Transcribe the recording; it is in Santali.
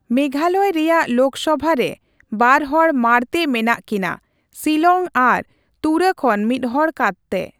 ᱢᱮᱜᱷᱟᱞᱚᱭ ᱨᱮᱭᱟᱜ ᱞᱳᱠᱥᱚᱵᱷᱟ ᱨᱮ ᱵᱟᱨᱦᱚᱲ ᱢᱟᱬᱛᱮ ᱢᱮᱱᱟᱜ ᱠᱤᱱᱟᱹ, ᱥᱤᱞᱚᱝ ᱟᱨ ᱛᱩᱨᱟᱹ ᱠᱷᱚᱱ ᱢᱤᱫᱦᱚᱲ ᱠᱟᱛᱮ ᱾